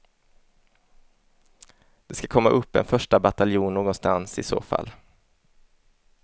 Det ska komma upp en första bataljon någonstans i så fall.